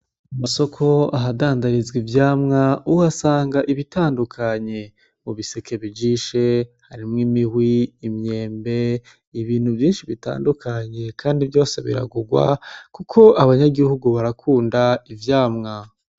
Amasoko ahadandarizwa ivyamwa, uhasanga ibitandukanye, mu biseke bijishe harimwo imihwi, imyembe, ibintu vyinshi bitandukanye, kandi vyose biragugwa kuko abanyagihugu barakunda ivyamwa.